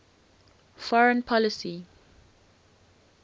foreign policy